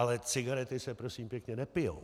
Ale cigarety se, prosím pěkně, nepijí.